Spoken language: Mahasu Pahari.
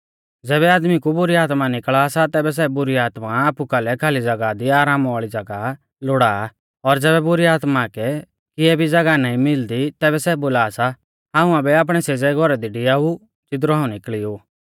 ज़ैबै आदमी कु बुरी आत्मा निकल़ा सा तैबै सै बुरी आत्मा आपु कालै खाली ज़ागाह दी आराम वाल़ी ज़ागाह लोड़ा आ और ज़ैबै बुरी आत्मा कै किए भी ज़ागाह नाईं मिलदी तैबै सै बोला सा हाऊं आबै आपणै सेज़ै घौरा दी डिआऊ ज़िदरु हाऊं निकल़ी ऊ